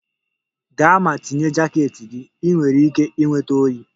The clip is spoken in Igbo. Gaa ma tinye jaket gị! Ị nwere ike ịnweta oyi.